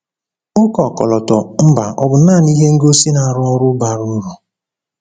ụka ọkọlọtọ mba ọ̀ bụ naanị ihe ngosi na-arụ ọrụ bara uru?